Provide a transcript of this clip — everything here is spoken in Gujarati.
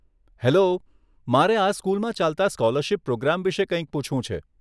હેલો, મારે આ સ્કૂલમાં ચાલતા સ્કોલરશીપ પ્રોગ્રામ વિષે કંઇક પૂછવું છે.